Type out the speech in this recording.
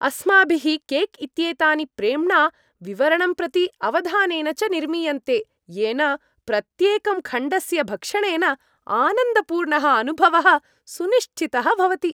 अस्माभिः केक् इत्येतानि प्रेम्णा, विवरणं प्रति अवधानेन च निर्मीयन्ते, येन प्रत्येकं खण्डस्य भक्षणेन आनन्दपूर्णः अनुभवः सुनिश्चितः भवति।